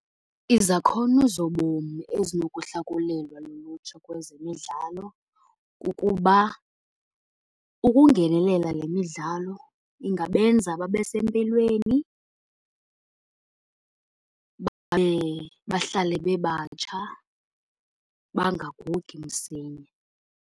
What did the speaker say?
Izakhono zobomi ezinokuhlakulelwa lulutsha kwezemidlalo kukuba ukungenelela le midlalo ingabenza babe sempilweni, bahlale bebatsha bangagugi msinya.